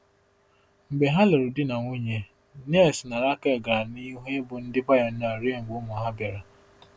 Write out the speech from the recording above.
Mgbe ha lụrụ di na nwunye, Niels na Rakel gara n’ihu ịbụ ndị pionia ruo mgbe ụmụ ha bịara.